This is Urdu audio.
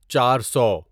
چار سو